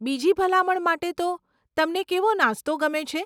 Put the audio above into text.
બીજી ભલામણ માટે તો, તમને કેવો નાસ્તો ગમે છે?